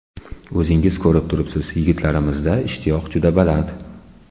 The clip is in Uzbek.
O‘zingiz ko‘rib turibsiz, yigitlarimizda ishtiyoq juda baland.